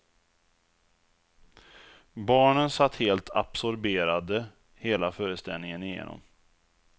Barnen satt helt absorberade hela föreställningen igenom.